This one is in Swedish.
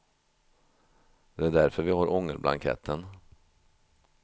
Det är därför vi har ångerblanketten.